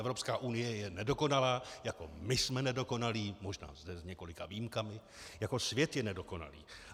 Evropská unie je nedokonalá, jako my jsme nedokonalí, možná zde s několika výjimkami, jako svět je nedokonalý.